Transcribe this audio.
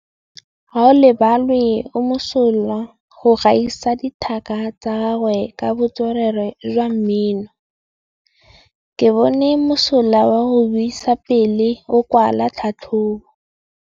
Gaolebalwe o mosola go gaisa dithaka tsa gagwe ka botswerere jwa mmino. Ke bone mosola wa go buisa pele o kwala tlhatlhobô.